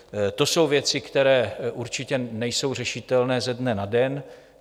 To jsou věci, které určitě nejsou řešitelné ze dne na den.